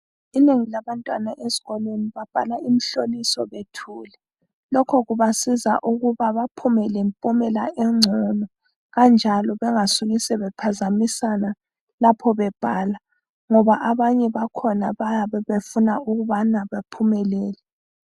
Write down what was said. Inengi labantwana ezikolweni babhala imhloliso bethule. Lokho kubasiza ukuba bephume lempumela engcono kanjalo bengasuki sebephazamisana lapho bebhala ngoba abanye bakhona bayabe befuna ukubana bephumelele